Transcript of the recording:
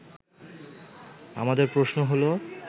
আমাদের প্রশ্ন হলো